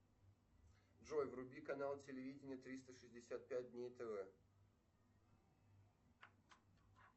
джой вруби канал телевидения триста шестьдесят пять дней тв